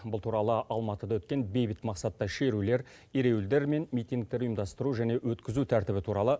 бұл туралы алматыда өткен бейбіт мақсатта шерулер ереуілдер мен митингтер ұйымдастыру және өткізу тәртібі туралы